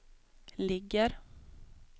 ligger